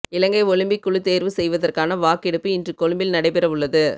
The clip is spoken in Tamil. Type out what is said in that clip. இலங்கை ஒலிம்பிக் குழு தேர்வு செய்வதற்கான வாக்கெடுப்பு இன்று கொழும்பில் நடைபெறவுள்ளது